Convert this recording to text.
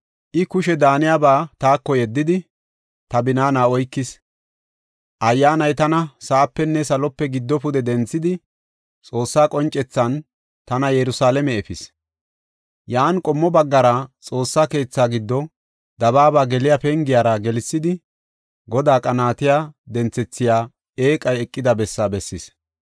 I kushe daaniyaba taako yeddidi, ta binaana oykis. Ayyaanay tana sa7apenne salope giddo pude denthidi, Xoossaa qoncethan tana Yerusalaame efis. Yan qommo baggara Xoossaa keetha giddo dabaaba geliya pengiyara gelsidi, Godaa qanaatiya denthethiya eeqay eqida bessaa bessis.